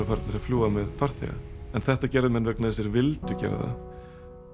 farnir að fljúga með farþega en þetta gerðu menn vegna þess að þeir vildu gera það